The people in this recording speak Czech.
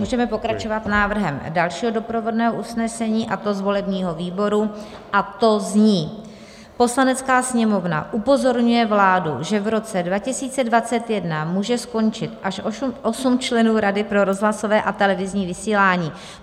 Můžeme pokračovat návrhem dalšího doprovodného usnesení, a to z volebního výboru, a to zní: "Poslanecká sněmovna upozorňuje vládu, že v roce 2021 může skončit až osm členů Rady pro rozhlasové a televizní vysílání.